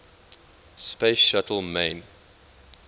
space shuttle main